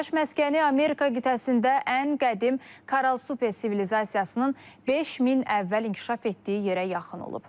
Yaşayış məskəni Amerika qitəsində ən qədim Karal Super sivilizasiyasının 5000 əvvəl inkişaf etdiyi yerə yaxın olub.